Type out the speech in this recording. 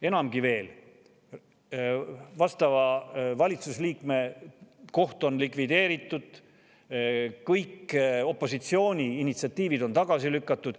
Enamgi veel, vastava valitsusliikme koht on likvideeritud, kõik opositsiooni initsiatiivid on tagasi lükatud.